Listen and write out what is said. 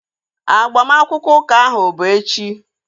Agbamakwụkwọ ụka ahu bu echi